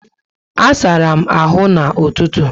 A sárá m áhù na ụtụtụ